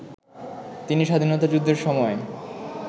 তিনি স্বাধীনতা যুদ্ধের সময়